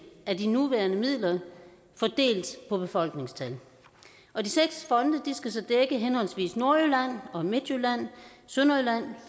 af de nuværende midler fordelt på befolkningstal og de seks fonde skal så dække henholdsvis nordjylland midtjylland sydjylland